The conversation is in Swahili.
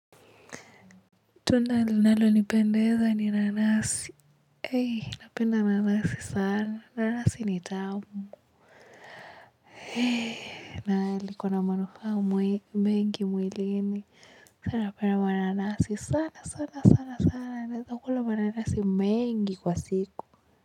Tunda linalonipendeza ni nanasi, napenda nanasi sana, nanasi ni tamu na likona manufaa mengi mwilini sana, napenda mananasi sana, sana, sana, naweza kula mananasi mengi kwa siku.